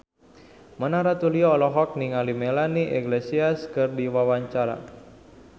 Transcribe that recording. Mona Ratuliu olohok ningali Melanie Iglesias keur diwawancara